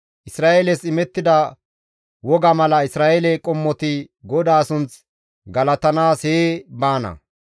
Isra7eeles imettida woga mala Isra7eele qommoti GODAA sunth galatanaas hee baana.